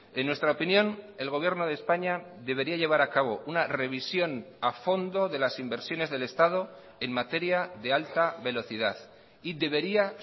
en nuestra opinión el gobierno de españa debería llevar a cabo una revisión a fondo de las inversiones del estado en materia de alta velocidad y debería